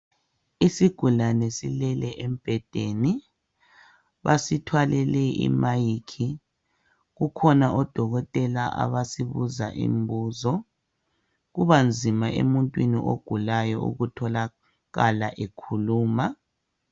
Isigulane silele embhedeni basithwalele ilayithi, kukhona odoketela abasibuza imibuzo kubanzima emuntwini ogulayo ukutholakala ekhuluma.